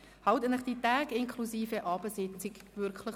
Halten Sie sich die Tage inklusive Abendsitzungen frei.